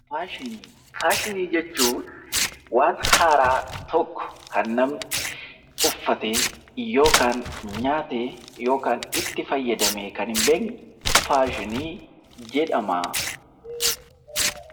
Faashinii Faashinii jechuun waan haaraa tokko, kan namni uffatee yookaan nyaatee yookaan itti fayyadamee kan hin beekne 'Faashinii' jedhama.